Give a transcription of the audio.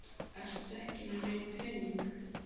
Ertu ekki með neinn pening?